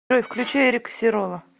джой включи эрика сирола